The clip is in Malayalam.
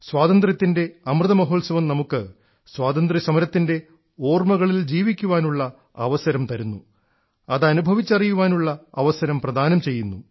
സ്വാതന്ത്ര്യത്തിൻറെ അമൃത മഹോത്സവം നമുക്ക് സ്വാതന്ത്ര്യസമരത്തിൻറെ ഓർമ്മകളിൽ ജീവിക്കുവാനുള്ള അവസരം തരുന്നു അത് അനുഭവിച്ചറിയാനുള്ള അവസരം പ്രദാനം ചെയ്യുന്നു